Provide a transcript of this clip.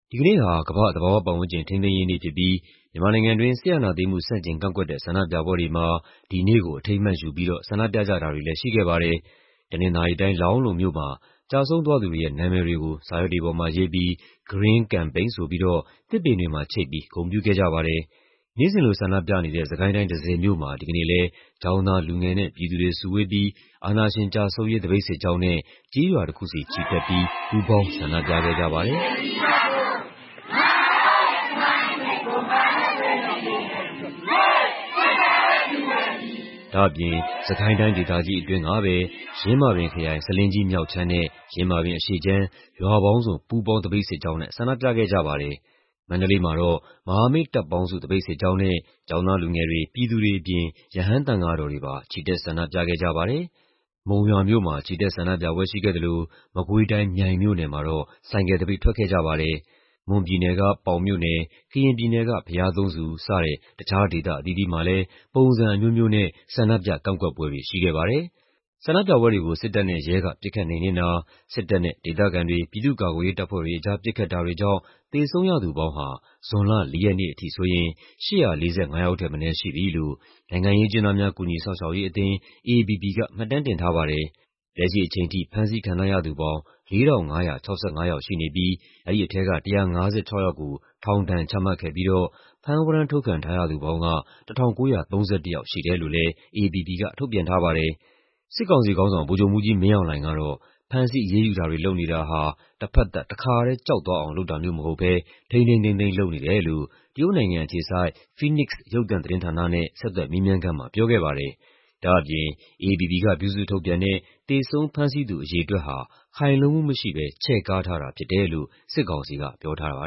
ဒီကနေ့ဟာ ကမ္ဘာ့ သဘာဝပတ်ဝန်းကျင် ထိန်းသိမ်းရေးနေ့ဖြစ်ပြီး မြန်မာနိုင်ငံတွင်း စစ်အာဏာသိမ်းမှု ဆန့်ကျင်ကန့်ကွက်တဲ့ ဆန္ဒပြပွဲတွေမှာ ဒီနေ့ကို အထိမ်းအမှတ်ယူပြီးတော့ ဆန္ဒပြကြတာတွေလည်း ရှိခဲ့ပါတယ်။ တနင်္သာရီတိုင်း၊ လောင်းလုံမြို့မှာ ကျဆုံးသွားသူတွေရဲ့ နာမည်တွေကို စာရွက်တွေပေါ်မှာရေးပြီး Green Campaign ဆိုပြီးတော့ သစ်ပင်တွေမှာချိတ်ပြီး ဂုဏ်ပြုခဲ့ကြပါတယ်။ နေ့စဉ်လို ဆန္ဒပြနေတဲ့ စစ်ကိုင်းတိုင်း၊ တန့်ဆည်မြို့မှာ ဒီကနေ့လည်း ကျောင်းသား လူငယ်နဲ့ ပြည်သူတွေစုဝေးပြီး အာဏာရှင်ကျဆုံးရေး သပိတ်စစ်ကြောင်းနဲ့ ကျေးရွာတခုဆီ ချီတက်ပြီး ပူးပေါင်း ဆန္ဒပြခဲ့ကြပါတယ်။ ဒါ့အပြင် စစ်ကိုင်းတိုင်းဒေသကြီး အတွင်းကပဲ ယင်းမာပင်ခရိုင်၊ ဆားလင်းကြီးမြောက်ခြမ်းနဲ့ ယင်းမာပင်အရှေ့ခြမ်း ရွာပေါင်းစုံ ပူးပေါင်းသပိတ်စစ်ကြောင်းနဲ့ ဆန္ဒပြခဲ့ကြပါတယ်။ မန္တလေးမှာတော့ မဟာမိတ်တပ်ပေါင်းစု သပိတ်စစ်ကြောင်းနဲ့ ကျောင်းသားလူငယ်တွေ၊ ပြည်သူတွေအပြင် ရဟန်းသံဃာတော်တွေပါ ချီတက် ဆန္ဒပြခဲ့ကြပါတယ်။ မုံရွာမြို့မှာ ချီတက်ဆန္ဒပြပွဲ ရှိခဲ့သလို မကွေးတိုင်း၊ မြိုင်မြို့နယ်မှာတော့ ဆိုင်ကယ်သပိတ် ထွက်ခဲ့ကြပါတယ်။ မွန်ပြည်နယ်က ပေါင်မြို့နယ်၊ ကရင်ပြည်နယ်က ဘုရားသုံးဆူ စတဲ့ တခြားဒေသ အသီးသီးမှာလည်း ပုံစံအမျိုးမျိုးနဲ့ ဆန္ဒပြ ကန့်ကွက်ပွဲတွေ ရှိခဲ့ပါတယ်။ ဆန္ဒပြပွဲတွေကို စစ်တပ်နဲ့ ရဲက ပစ်ခတ်နှိမ်နင်းတာ၊ စစ်တပ်နဲ့ ဒေသခံတွေ၊ ပြည်သူ့ကာကွယ်ရေး တပ်ဖွဲ့တွေအကြား ပစ်ခတ်တာတွေကြောင့် သေဆုံးရသူပေါင်းဟာ ဇွန်လ ၄ ရက်နေ့အထိဆိုရင် ၈၄၅ ယောက်ထက်မနည်း ရှိပြီလို့ နိုင်ငံရေးအကျဉ်းသားများ ကူညီစောင့်ရှောက်ရေးအသင်း (AAPP) က မှတ်တမ်းတင်ထားပါတယ်။ လက်ရှိအချိန်ထိ ဖမ်းဆီးခံထားရသူပေါင်း ၄,၅၆၅ ယောက်ရှိနေပြီး အဲဒီထဲက ၁၅၆ ယောက်ကို ထောင်ဒဏ်ချမှတ်ခဲ့ပြီးတော့ ဖမ်းဝရမ်း ထုတ်ခံထားရသူပေါင်းက ၁,၉၃၁ ယောက်ရှိတယ်လို့လည်း AAPP က ထုတ်ပြန်ထားပါတယ်။ စစ်ကောင်စီခေါင်းဆောင် ဗိုလ်ချုပ်မှူးကြီးမင်းအောင်လှိုင်ကတော့ ဖမ်းဆီးအရေးယူတာတွေ လုပ်နေတာဟာ တဖက်သတ် တခါတည်း ကြောက်သွားအောင် လုပ်တာမျိုး မဟုတ်ဘဲ ထိန်းထိန်းသိမ်းသိမ်း လုပ်နေတယ်လို့ တရုတ်နိုင်ငံအခြေစိုက် Phoenix ရုပ်သံသတင်းဌာနနဲ့ ဆက်သွယ်မေးမြန်းခန်းမှာ ပြောခဲ့ပါတယ်။ ဒါ့အပြင် AAPP က ပြုစုထုတ်ပြန်တဲ့ သေဆုံးဖမ်းဆီးသူ အရေအတွက်ဟာ ခိုင်လုံမှုမရှိဘဲ ချဲ့ကားထားတာဖြစ်တယ်လို့ စစ်ကောင်စီက ပြောထားပါ